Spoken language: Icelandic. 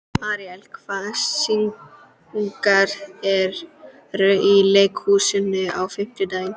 Aríella, hvaða sýningar eru í leikhúsinu á fimmtudaginn?